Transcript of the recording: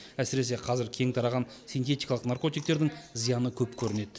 әсіресе қазір кең тараған синтетикалық наркотиктердің зияны көп көрінеді